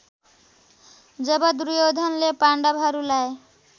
जब दुर्योधनले पाण्डवहरूलाई